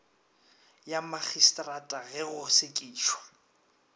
ya magistrata ge go sekišwa